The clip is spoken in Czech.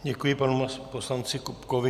Děkuji panu poslanci Kupkovi.